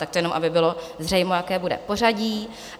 Tak to jenom aby bylo zřejmo, jaké bude pořadí.